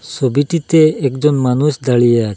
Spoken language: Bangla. সবিটিতে একজন মানুষ দাঁড়িয়ে আছ--